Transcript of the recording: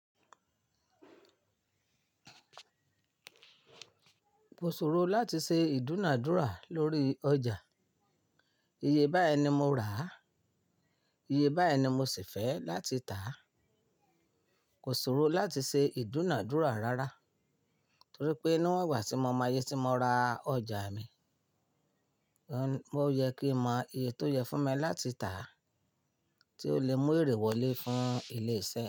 Kò sọ̀rọ̀ láti ṣe ìdúnàádúrà lórí ọjà. Iye bá ẹni mo rà, iye bá ẹni mo sì fẹ́ láti tàá. Kò sọ̀rọ̀ láti ṣe ìdúnàádúrà rárá torí pé níwọ̀n ìgbà tí mo mọ iyé tí mo ra ọjà mi, ó yẹ kí n mọ iye tó yẹ fún mi láti tàá tí ó le mú èrè wọlé fún ilé iṣẹ́.